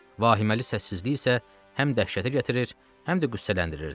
Vahiməli səssizlik isə həm dəhşətə gətirir, həm də qüssələndirirdi.